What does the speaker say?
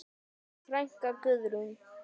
Þín frænka, Guðrún.